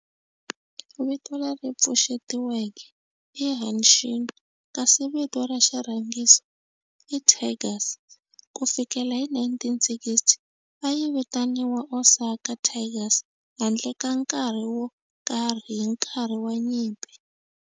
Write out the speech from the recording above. Vito leri pfuxetiweke i "Hanshin" kasi vito ra xirhangiso i "Tigers". Ku fikela hi 1960, a yi vitaniwa Osaka Tigers handle ka nkarhi wo karhi hi nkarhi wa nyimpi.